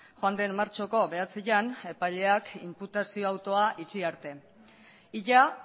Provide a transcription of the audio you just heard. joan den martxoko bederatzian epaileak inputazio autua itxi arte ia